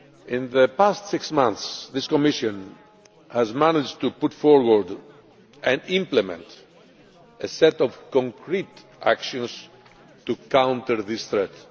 In the past six months, this Commission has managed to put forward and implement a set of concrete actions to counter this threat.